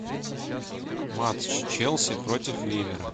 матч челси против ливера